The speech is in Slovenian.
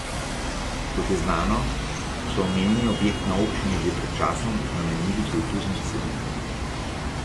Kot je znano, so omenjeni objekt na občini že pred časom namenili kulturnim vsebinam.